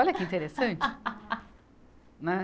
Olha que interessante! né